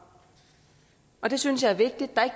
og det synes jeg er vigtigt